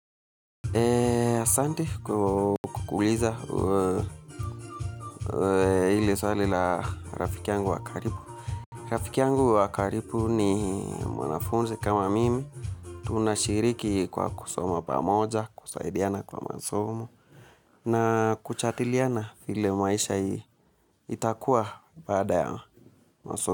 Eee, asanti kwa kuuliza ili swali la rafiki yangu wa karibu rafiki yangu wakaribu ni mwanafunzi kama mimi. Tunashiriki kwa kusoma pamoja, kusaidiana kwa masomo, na kujadiliana vile maisha itakuwa baada masomo.